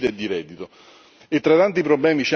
E tra i tanti problemi c'è anche qualche luce.